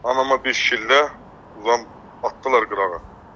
Anama bir şillə, uzanıb atdılar qırağa.